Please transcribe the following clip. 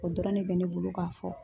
O dɔrɔn ne bɛ ne bolo ka fɔ.